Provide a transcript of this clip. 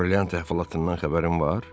Brilyant əhvalatından xəbərin var?